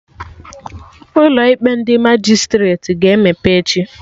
Ụlọ ikpe ndị Majistreti ga-emepe echi